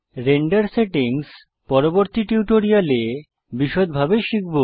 render settings পরবর্তী টিউটোরিয়ালে বিষদভাবে শিখব